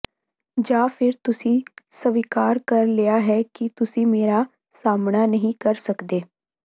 ਜਾਂ ਫਿਰ ਤੁਸੀਂ ਸਵੀਕਾਰ ਕਰ ਲਿਆ ਹੈ ਕਿ ਤੁਸੀਂ ਮੇਰਾ ਸਾਹਮਣਾ ਨਹੀਂ ਕਰ ਸਕਦੇ